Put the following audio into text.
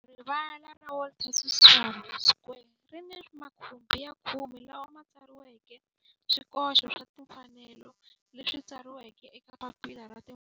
Rivala ra Walter Sisulu Square ri ni makhumbi ya khume lawa ma tsariweke swikoxo swa timfanelo leswi tsariweke eka papila ra timfanelo leswi